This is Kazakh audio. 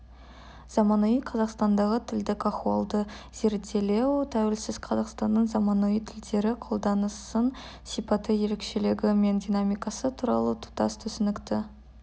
заманауи қазақстандағы тілдік ахуалды зерделеу тәуелсіз қазақстанның заманауи тілдері қолданысының сипаты ерекшелігі мен динамикасы туралы тұтас түсінікті